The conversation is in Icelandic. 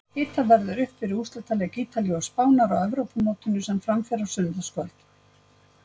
Hitað verður upp fyrir úrslitaleik Ítalíu og Spánar á Evrópumótinu sem fram fer á sunnudagskvöld.